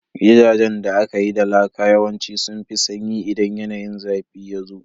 Gidajen da aka yi da laka yawanci sun fi sanyi idan yanayin zafi yazo